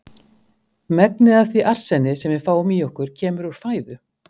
Megnið af því arseni, sem við fáum í okkur kemur úr fæðu.